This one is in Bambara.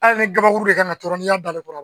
Hali ni kabakuru de kan ka tɔrɔ n'i y'a da ale kɔrɔ